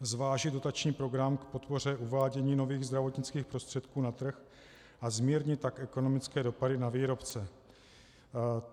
Zvážit dotační program k podpoře uvádění nových zdravotnických prostředků na trh, a zmírnit tak ekonomické dopady na výrobce.